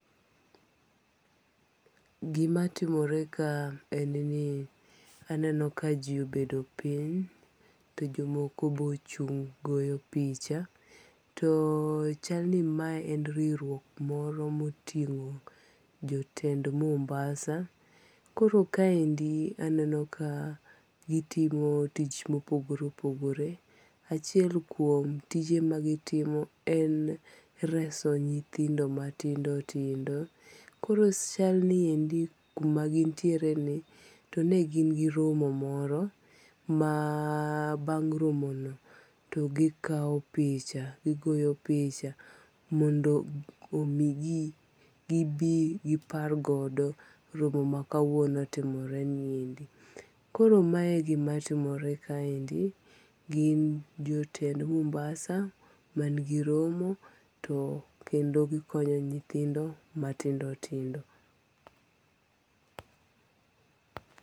Gimatimore kae en ni aneno ka ji obedo piny to jomoko be ochung' goyo picha, to chalni mae en riwruok moro ma otingo' jotend Mombasa, koro kaendi aneno ka gitimo tich mopogore opogore achie kuom tije ma gitimo en reso nyithindo matindo tindo, koro chal ni endi kuma gintiereni chal ni gin gi romo moro ma bang' romono to gikawo picha, gigoyo picha mondo omigi gibi gipargodo romo makawono timoreniendi ,koro mae e gimatimore kaendi, gin jotend Mombasa mangi romo to kendo gikonyo nyithindo matindo tindo.